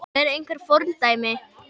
Eru einhver fordæmi?